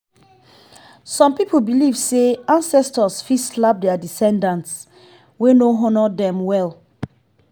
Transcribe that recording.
some people believe say ancestors fit slap their descendants wey no honour dem well